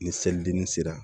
Ni seli ni sera